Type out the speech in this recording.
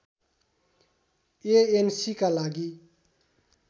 एएनसीका लागि